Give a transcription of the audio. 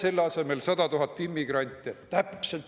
Tooge asemele 100 000 immigranti!